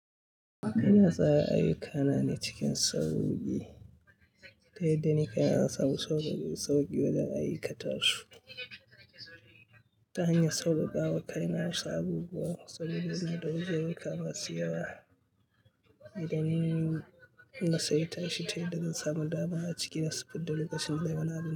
Ina tsara ayyukana ne cikin sauki, ta yadda nake hana sabon sauki wajen ayyukata su. Ta hanyar sauƙaƙawa, kai na raba bugu, sauƙaƙewa da wajen riƙa masu yawa. Idanun na saita shi ta yadda zan samu dama a cikin su fidda lokacin da yana da.